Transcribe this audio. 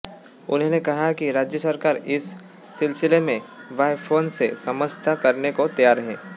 उन्होंने कहा कि राज्य सरकार इस सिलसिले में बॉयोकॉन से समझौता करने को तैयार है